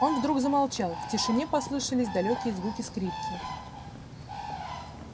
он вдруг замолчал в тишине послышались далёкие звуки скрипки